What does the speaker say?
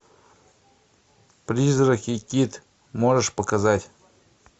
призрак и кит можешь показать